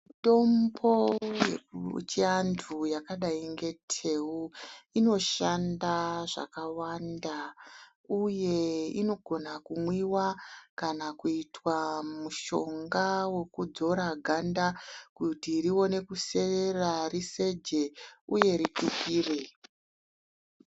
Mitombo yechiantu yakadai neteu inoshanda zvakawanda, uye inogona kumwiva kana kuita mushonga vokudzora ganda kuti rione kuserera riseje, uye ripipire.